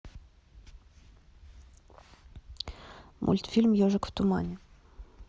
мультфильм ежик в тумане